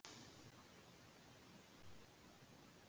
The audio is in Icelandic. Glymur og hverfist um okkur.